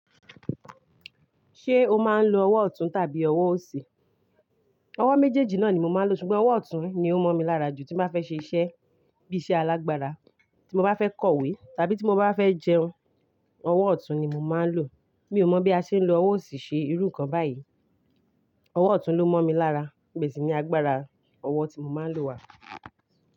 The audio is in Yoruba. Ṣé o máa ń lo ọwọ́ ọ̀tún tàbí ọwọ́ òsì? Ọwọ́ méjèèjì náà ni mo máa ń lo, ṣùgbọ́n ọwọ́ ọ̀tún ni ó mọ̀ mi lára jù. Tí mo bá fẹ́ ṣe iṣẹ́ bí i iṣẹ́ alágbára, tí mo bá fẹ́ kọ̀wé, tàbí tí mo bá fẹ́ jẹun, ọwọ́ ọ̀tún ni mo máa ń lò. Mi ò mọ̀ bí a ṣe ń lo ọwọ́ òsì ṣe irú kan báyìí. Ọwọ́ ọ̀tún ló mọ̀ mi lára, ibèsì ni agbára ọwọ́ tí mo máa ń lò wà.